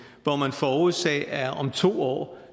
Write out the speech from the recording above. hvor man forudser at om to år